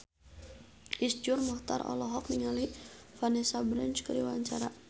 Iszur Muchtar olohok ningali Vanessa Branch keur diwawancara